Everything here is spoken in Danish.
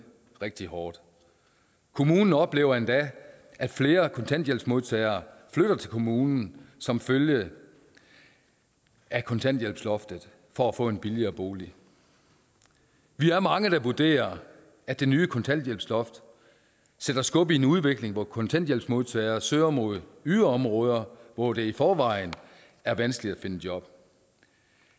rigtig hårdt kommunen oplever endda at flere kontanthjælpsmodtagere flytter til kommunen som følge af kontanthjælpsloftet for at få en billigere bolig vi er mange der vurderer at det nye kontanthjælpsloft sætter skub i en udvikling hvor kontanthjælpsmodtagere søger mod yderområder hvor det i forvejen er vanskeligt at finde job